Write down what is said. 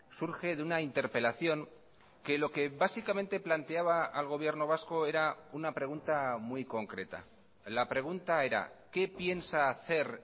surge de una interpelación que lo que básicamente planteaba al gobierno vasco era una pregunta muy concreta la pregunta era qué piensa hacer